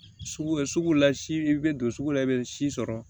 Sugu bɛ sugu la si i bɛ don sugu la i bɛ si sɔrɔ